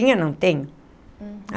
Tinha, não tenho.